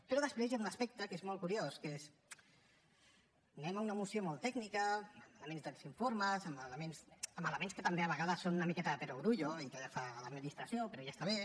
però després hi ha un aspecte que és molt curiós que és anem a una moció molt tècnica amb elements dels informes amb elements que també a vegades són una miqueta de perogrullo i també fa l’administració però ja està bé